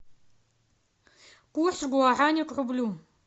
курс гуараня к рублю